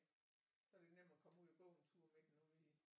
Så er det nemt at komme ud og gå en tur med den ude i